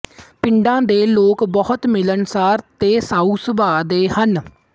ਪਿੰਡ ਦੇ ਲੋਕ ਬਹੁਤ ਮਿਲਣਸਾਰ ਤੇ ਸਾਊ ਸੁਭਾਅ ਦੇ ਹਨ